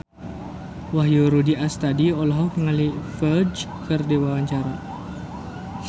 Wahyu Rudi Astadi olohok ningali Ferdge keur diwawancara